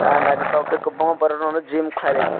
ah nythotok ke kwbangma borok rok no gym khlai ai.